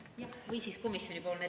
Jah, või siis komisjoni ettekandja.